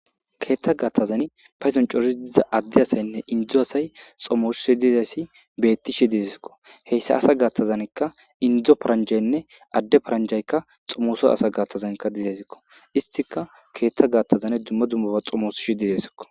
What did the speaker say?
Keetta gaattazan payzan cori diza addi asaynne indzdzo asay xomoshoshi dizayssi beetti shi didesiko heyssa asa gaattazankka indzdzo paranjaynne adde paranjaykka xomoso asa gattazankka dizaysikko istika keetta gattazane dumma dummuba xomoos shi didesiko.